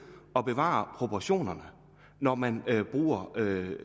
at bevare proportionerne når man bruger